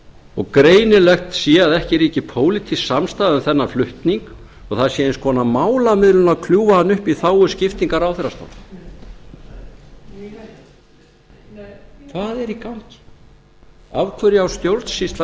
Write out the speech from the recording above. og greinilegt sé að ekki ríki pólitísk samstaða um þennan flutning og það sé eins konar málamiðlun að kljúfa hann upp í þágu skiptingar ráðherrastóla hvað er í gangi af hverju á stjórnsýslan